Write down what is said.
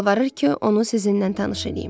Yalvarır ki, onu sizinlə tanış eləyim.